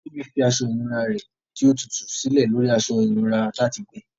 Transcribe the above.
Tobi fi aṣọ ìnura rẹ ti o tutu silẹ lori aṣọ ìnura lati gbẹ.